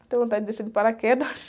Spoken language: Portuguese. Tenho vontade de descer de paraquedas.